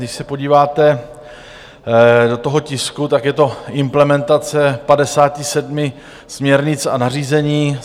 Když se podíváte do toho tisku, tak je to implementace 57 směrnic a nařízení.